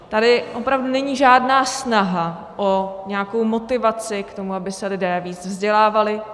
Tady opravdu není žádná snaha o nějakou motivaci k tomu, aby se lidé víc vzdělávali;